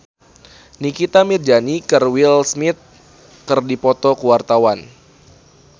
Nikita Mirzani jeung Will Smith keur dipoto ku wartawan